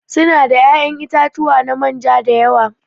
Su na da ya'yan itatuwa na manja da yawa.